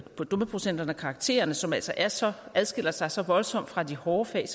på dumpeprocenterne og karaktererne som altså altså adskiller sig så voldsomt fra de hårde fag